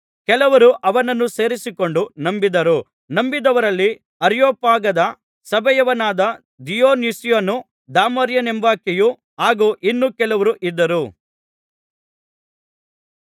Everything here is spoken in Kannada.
ಕೆಲವರು ಅವನನ್ನು ಸೇರಿಕೊಂಡು ನಂಬಿದರು ನಂಬಿದವರಲ್ಲಿ ಅರಿಯೊಪಾಗದ ಸಭೆಯವನಾದ ದಿಯೊನುಸ್ಯನೂ ದಾಮರಿಯೆಂಬಾಕೆಯೂ ಹಾಗು ಇನ್ನೂ ಕೆಲವರೂ ಇದ್ದರು